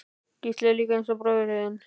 Gísli: Líka eins og bróðir þinn?